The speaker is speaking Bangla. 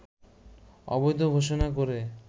অবৈধ ঘোষণা করে